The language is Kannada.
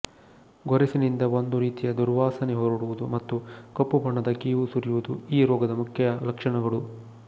ಗೊರಸಿನಿಂದ ಒಂದು ರೀತಿಯ ದುರ್ವಾಸನೆ ಹೊರಡುವುದು ಮತ್ತು ಕಪ್ಪು ಬಣ್ಣದ ಕೀವು ಸುರಿಯುವುದು ಈ ರೋಗದ ಮುಖ್ಯ ಲಕ್ಷಣಗಳು